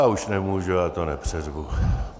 Já už nemůžu, já to nepřeřvu.